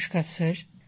নমস্কার স্যার